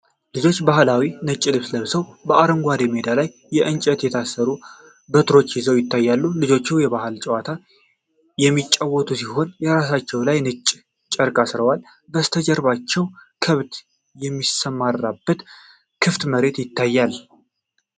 ልጆች ባህላዊ ነጭ ልብስ ለብሰው በአረንጓዴ ሜዳ ላይ ከእንጨት የተሰሩ በትሮች ይዘው ይታያሉ። ልጆቹ የባህል ጨዋታ የሚጫወቱ ሲሆን፣ ራሳቸው ላይ ነጭ ጨርቅ አስረዋል። ከበስተጀርባው ከብት የሚሰማራበት ክፍት መሬት ይታያል።